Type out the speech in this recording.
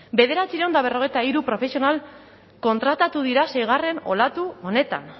bederatziehun eta berrogeita hiru profesional kontratatu dira seigarren olatu honetan